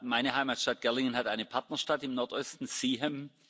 Meine Heimatstadt Gerlingen hat eine Partnerstadt im Nordosten, Seaham.